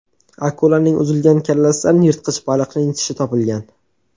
Akulaning uzilgan kallasidan yirtqich baliqning tishi topilgan.